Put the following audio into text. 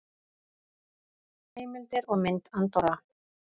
Heimildir og mynd Andorra.